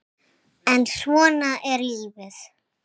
en svona er lífið.